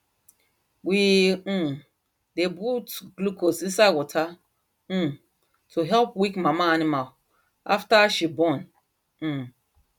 we um dey put glucose inside water um to help weak mama animal after she born um